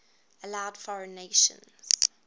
allowed foreign nations